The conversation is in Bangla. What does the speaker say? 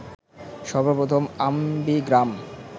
সর্বপ্রথম অ্যামবিগ্রাম